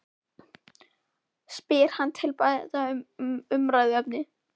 spyr hann til að breyta um umræðuefni.